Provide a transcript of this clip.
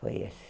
Foi esse.